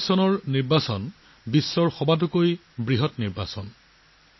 ২৪ৰ নিৰ্বাচন বিশ্বৰ ভিতৰতে সৰ্ববৃহৎ নিৰ্বাচন আছিল